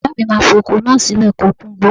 Bàbáà mi má fi oko náà sílẹ̀ kó kúngbó.